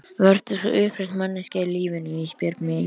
Vertu svo upprétt manneskja í lífinu Ísbjörg mín.